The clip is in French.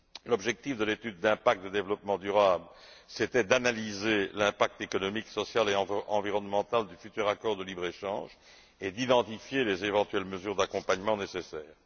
L'objectif de l'étude d'impact et de développement durable était d'analyser l'impact économique, social et environnemental du futur accord de libre échange et d'identifier les éventuelles mesures d'accompagnement nécessaires.